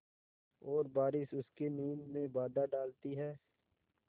और बारिश उसकी नींद में बाधा डालती है